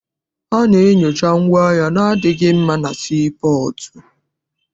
A na-enyocha ngwaahịa adịghị mma na sii pọọtụ.